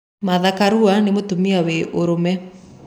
Martha Karua nĩ mutumia wĩ ũrũme